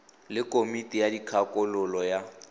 le komiti ya dikgakololo ya